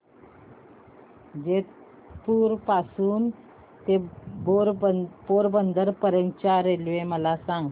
जेतपुर पासून ते पोरबंदर पर्यंत च्या रेल्वे मला सांगा